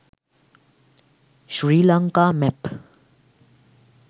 sri lanka map